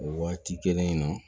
O waati kelen in na